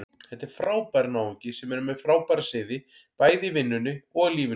Þetta er frábær náungi sem er með frábæra siði, bæði í vinnunni og lífinu.